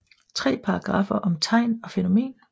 Tre paragraffer om tegn og fænomen